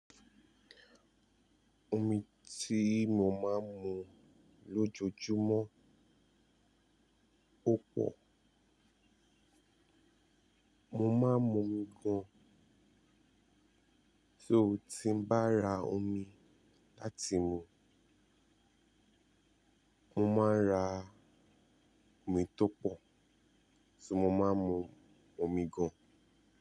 Omi tí mo máa ń mu lójoojúmọ́ púpọ̀. Mo máa ń mun-mi gan-an. Só ti n bá ra omi láti mu. Mo máa ń ra omi tó pọ̀, so mo máa ń mu omi gan-an.